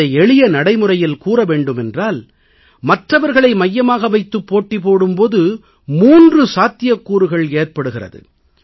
இதை எளிய நடையில் கூற வேண்டுமென்றால் மற்றவர்களை மையமாக வைத்துப் போட்டி போடும் போது 3 சாத்தியக்கூறுகள் ஏற்படுகிறது